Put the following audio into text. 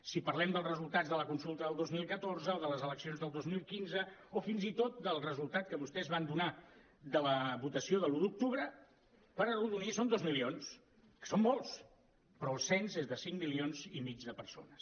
si parlem dels resultats de la consulta del dos mil catorze o de les eleccions del dos mil quinze o fins i tot del resultat que vostès van donar de la votació de l’un d’octubre per arrodonir són dos milions que són molts però el cens és de cinc milions i mig de persones